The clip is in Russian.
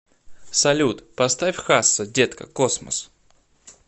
салют поставь хасса детка космос